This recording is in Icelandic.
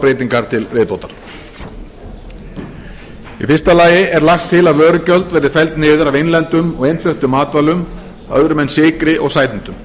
breytingar til viðbótar í fyrsta lagi er lagt til að vörugjöld verði felld niður af innlendum og innfluttum matvælum öðrum en sykri og sætindum